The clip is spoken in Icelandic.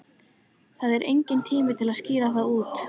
Það er enginn tími til að skýra það út.